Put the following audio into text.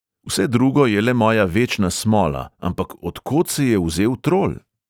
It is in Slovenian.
“vse drugo je le moja večna smola, ampak od kod se je vzel trol?”